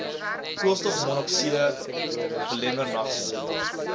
koolstofmonokside belemmer nagsig